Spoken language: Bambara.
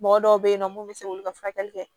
Mɔgɔ dɔw bɛ yen nɔ minnu bɛ se k'olu ka furakɛli kɛ